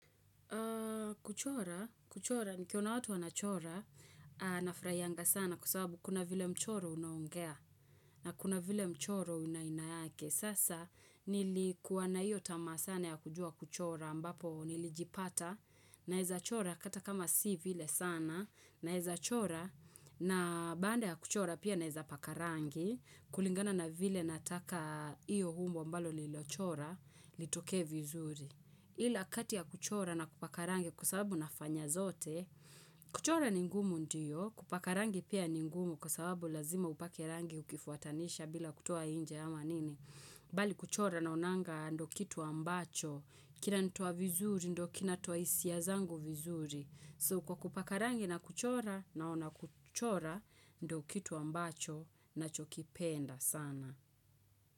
Kuchora, kuchora, nikiona watu wanachora nafurahianga sana kwa sababu kuna vile mchoro unaongea na kuna vile mchoro una aina yake. Sasa nilikuwa na iyo tamaa sana ya kujua kuchora ambapo nilijipata naeza chora hata kama si vile sana naeza chora na baada ya kuchora pia naeza paka rangi kulingana na vile nataka iyo umbo ambalo nililochora litoke vizuri. Ila kati ya kuchora na kupaka rangi kwa sababu nafanya zote, kuchora ni ngumu ndiyo, kupaka rangi pia ni ngumu kwa sababu lazima upake rangi ukifuatanisha bila kutoa nje ama nini. Bali kuchora naonanga ndio kitu ambacho, kinanitoa vizuri ndio kinatoa hisia zangu vizuri. So kwa kupaka rangi na kuchora naona kuchora ndio kitu ambacho nachokipenda sana.